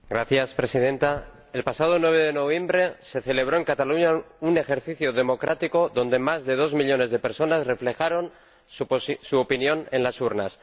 Señora Presidenta, el pasado 9 de noviembre se celebró en Cataluña un ejercicio democrático en el que más de dos millones de personas reflejaron su opinión en las urnas.